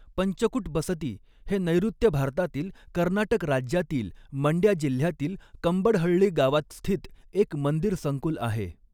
पंचकुट बसती हे नैऋत्य भारतातील कर्नाटक राज्यातील मंड्या जिल्ह्यातील कंबडहळ्ळी गावात स्थित एक मंदिर संकुल आहे.